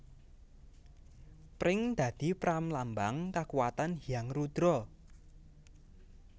Pring dadi pramlambang kakuwatan Hyang Rudra